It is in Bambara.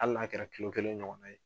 Ali n'a kɛra kilo kelen ɲɔgɔn na ye